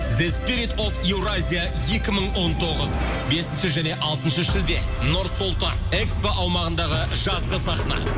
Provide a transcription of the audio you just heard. зе спирит оф еуразия екі мың он тоғыз бесінші және алтыншы шілде нұр сұлтан экспо аумағындағы жазғы сахна